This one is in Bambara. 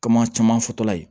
Kama caman fɔtɔla ye